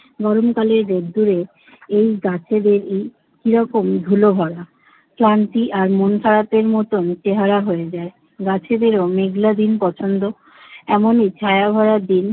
গরমকালের রোদ্দুরে এই গাছেদেরই কি রকম ধুলো ভরা। ক্লান্তি আর মন খারাপের মতন চেহারা হয়ে যায়। গাছেদেরও মেঘলা দিন পছন্দ। এমনই ছায়াভরা দিন